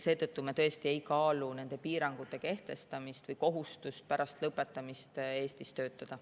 Seetõttu me tõesti ei kaalu kehtestada piirangut või kohustust pärast lõpetamist Eestis töötada.